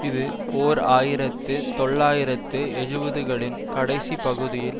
இது ஓர் ஆயிரத்தி தொள்ளாயிரத்து எழுபதுகளின் கடைசிப் பகுதியில்